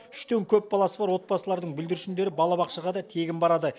үштен көп баласы бар отбасылардың бүлдіршіндері балабақшаға да тегін барады